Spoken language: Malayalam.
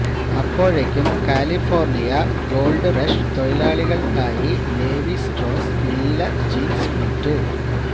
അപ്പോഴേക്കും കാലിഫോർണിയ ഗോൾഡ് റഷ് തൊഴിലാളികൾക്കായി ലേവി സ്ട്രോസ് നീല ജീൻസ് വിറ്റു